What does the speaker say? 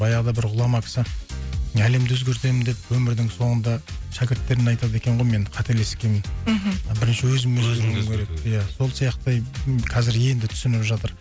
баяғыда бір ғұлама кісі әлемді өзгертемін деп өмірдің соңында шәкірттеріне айтады екен ғой мен қателескемін мхм бірінші өзімді иә сол сияқты ы қазір енді түсініп жатыр